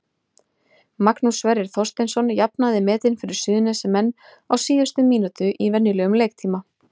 Magnús Sverrir Þorsteinsson jafnaði metin fyrir Suðurnesjamenn á síðustu mínútu í venjulegum leiktíma.